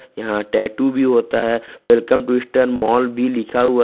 यहां टैटू भी होता है वेलकम टू ईस्टर्न मॉल भी लिखा हुआ है।